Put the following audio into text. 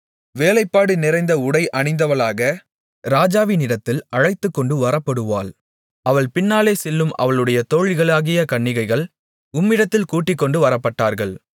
வேலைப்பாடு நிறைந்த உடை அணிந்தவளாக ராஜாவினிடத்தில் அழைத்துக்கொண்டு வரப்படுவாள் அவள் பின்னாலே செல்லும் அவளுடைய தோழிகளாகிய கன்னிகைகள் உம்மிடத்தில் கூட்டிக்கொண்டு வரப்படுவார்கள்